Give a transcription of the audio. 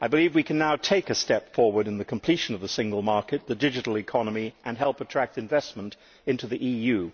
We can now take a step forward in the completion of the Single Market and the digital economy and help attract investment into the EU.